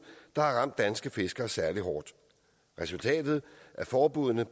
der har ramt danske fiskere særlig hårdt resultatet af forbuddene